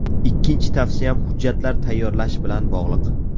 Ikkinchi tavsiyam hujjatlar tayyorlash bilan bog‘liq.